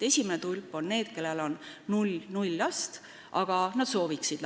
Esimeses tulbas on need, kellel lapsi ei ole, aga kes lapsi soovivad.